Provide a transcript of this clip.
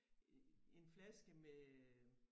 En flaske med øh